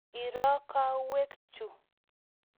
Iro kawek chu.